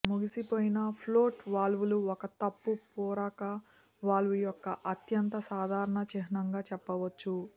మునిగిపోయిన ఫ్లోట్ వాల్వులు ఒక తప్పు పూరక వాల్వ్ యొక్క అత్యంత సాధారణ చిహ్నంగా చెప్పవచ్చు